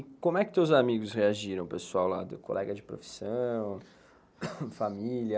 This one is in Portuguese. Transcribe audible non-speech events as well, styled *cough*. E como é que teus amigos reagiram, pessoal lá, *coughs* colega de profissão, família?